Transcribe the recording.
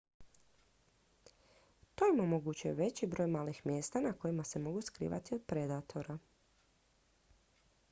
to im omogućuje veći broj malih mjesta na kojima se mogu skrivati od predatora